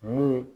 Ni